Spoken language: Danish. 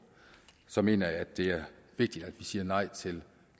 så mener jeg at det er vigtigt at vi siger nej til